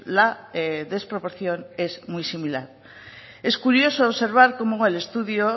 la desproporción es muy similar es curioso observar como en el estudio